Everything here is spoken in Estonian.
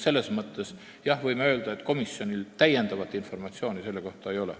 Selles mõttes võime öelda, et komisjonil selle kohta täiendavat informatsiooni ei ole.